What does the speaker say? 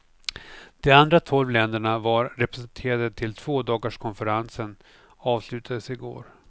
De andra tolv länderna var representerade tills tvådagarskonferensen avslutades i går.